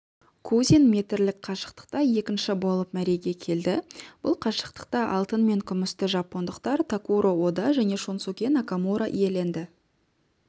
кузин метрлік қашықтықта екінші болып мәреге келді бұл қашықтықта алтын мен күмісті жапондықтар такуро ода және шунсуке накамура иеленді